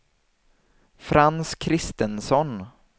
Frans Christensson